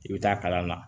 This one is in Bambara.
I bɛ taa kalan na